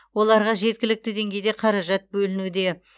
оларға жеткілікті деңгейде қаражат бөлінуде